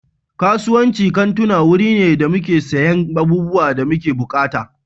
Kasuwancin kantuna wuri ne da muke siyan abubuwan da muke buƙata.